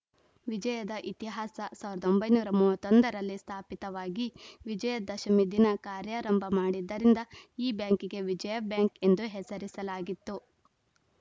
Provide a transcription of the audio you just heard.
ವಿಜಯದ ಇತಿಹಾಸ ಸಾವಿರದ ಒಂಬೈನೂರ ಮೂವತ್ತ್ ಒಂದ ರಲ್ಲಿ ಸ್ಥಾಪಿತವಾಗಿ ವಿಜಯ ದಶಮಿ ದಿನ ಕಾರ್ಯಾರಂಭ ಮಾಡಿದ್ದರಿಂದ ಈ ಬ್ಯಾಂಕಿಗೆ ವಿಜಯಾ ಬ್ಯಾಂಕ್‌ ಎಂದು ಹೆಸರಿಸಲಾಗಿತ್ತು